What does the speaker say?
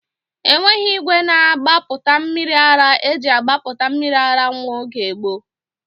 Enweghị igwe na-agbapụta mmiri ara eji agbapụta mmiri ara nwa oge gboo